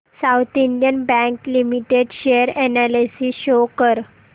south Indian Bank Limited share analysis show कर